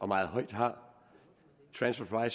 meget højt har transfer